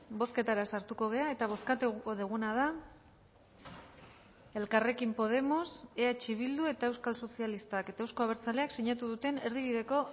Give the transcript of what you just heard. bozketara sartuko gara eta bozkatuko duguna da elkarrekin podemos eh bildu eta euskal sozialistak eta euzko abertzaleak sinatu duten erdibideko